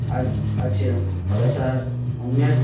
আজ আর.সি.এম. করাটা অন্নেক ।